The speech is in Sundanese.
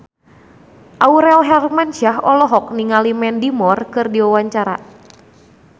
Aurel Hermansyah olohok ningali Mandy Moore keur diwawancara